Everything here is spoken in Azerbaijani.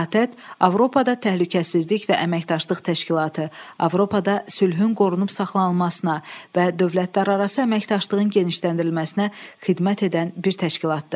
ATƏT Avropada Təhlükəsizlik və Əməkdaşlıq Təşkilatı, Avropada sülhün qorunub saxlanılmasına və dövlətlərarası əməkdaşlığın genişləndirilməsinə xidmət edən bir təşkilatdır.